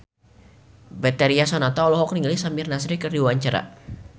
Betharia Sonata olohok ningali Samir Nasri keur diwawancara